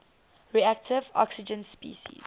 reactive oxygen species